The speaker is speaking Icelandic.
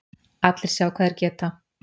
Allir sjá hvað þeir geta